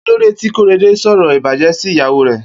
Kilódé ti Korede n sọrọ ibàjẹ̀ si ìyàwó rè?